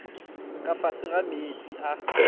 ka fase ga meetse a